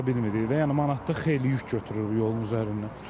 Yəni manatlıq xeyli yük götürür bu yolun üzərindən.